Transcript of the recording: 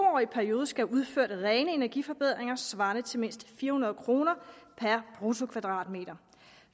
årig periode skal have udført rene energiforbedringer svarende til mindst fire hundrede kroner per bruttokvadratmeter